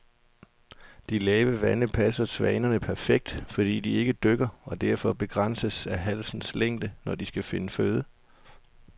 De lave vande passer svanerne perfekt, fordi de ikke dykker og derfor begrænses af halsens længde, når de skal finde føde.